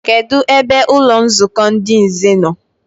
Kedụ ebe ụlọnzukọ ndị nze no?